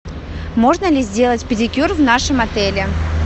можно ли сделать педикюр в нашем отеле